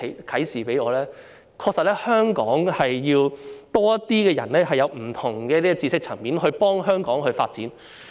就是香港確實需要多些人，從不同的知識層面幫助香港發展。